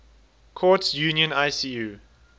courts union icu